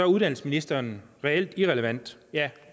uddannelsesministeren reelt irrelevant ja